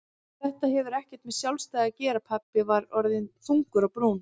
Þetta hefur ekkert með sjálfstæði að gera pabbi var orðinn þungur á brún.